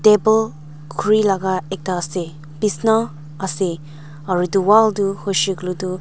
table khurilaga ekta ase bisna ase aro itu wall du huishe kuile tu.